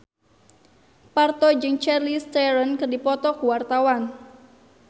Parto jeung Charlize Theron keur dipoto ku wartawan